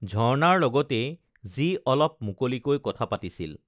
ঝৰ্ণাৰ লগতেই যি অলপ মুকলিকৈ কথা পাতিছিল